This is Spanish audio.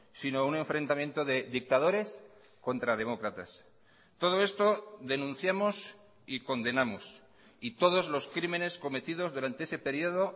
sino un enfrentamiento de dictadores contra demócratas todo esto denunciamos y condenamos y todos los crímenes cometidos durante ese periodo